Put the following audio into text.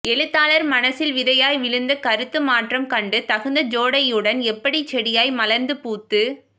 எழுத்தாளர் மனசில் விதையாய் விழுந்த கருத்து மாற்றம் கண்டு தகுந்த ஜோடனையுடன் எப்படி செடியாய் மலர்ந்து பூத்து